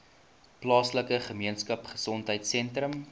plaaslike gemeenskapgesondheid sentrum